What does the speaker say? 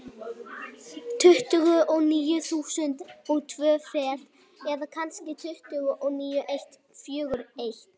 Tuttugu og níu þúsund og tvö fet, eða kannski tuttugu og níu eitt fjögur eitt.